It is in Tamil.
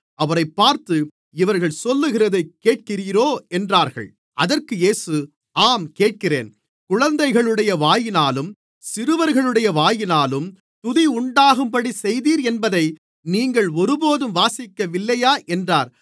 அவரைப் பார்த்து இவர்கள் சொல்லுகிறதைக் கேட்கிறீரோ என்றார்கள் அதற்கு இயேசு ஆம் கேட்கிறேன் குழந்தைகளுடைய வாயினாலும் சிறுவர்களுடைய வாயினாலும் துதி உண்டாகும்படிச் செய்தீர் என்பதை நீங்கள் ஒருபோதும் வாசிக்கவில்லையா என்றார்